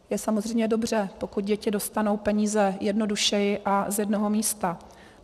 Je samozřejmě dobře, pokud děti dostanou peníze jednodušeji a z jednoho místa.